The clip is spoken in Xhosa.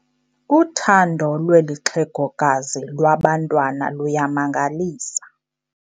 Uthando lweli xhegokazi lwabantwana luyamangalisa.